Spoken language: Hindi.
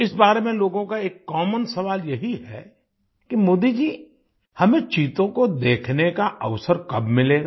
इस बारे में लोगों का एक कॉमन सवाल यही है कि मोदी जी हमें चीतों को देखने का अवसर कब मिलेगा